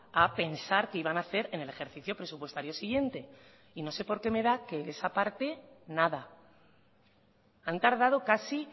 a pensar qué iban a hacer en el ejercicio presupuestario siguiente y no sé porque me da que esa parte nada han tardado casi